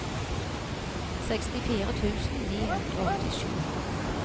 sekstifire tusen ni hundre og åttisju